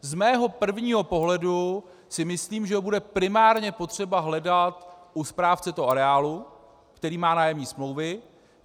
Z mého prvního pohledu si myslím, že ho bude primárně potřeba hledat u správce toho areálu, který má nájemní smlouvy.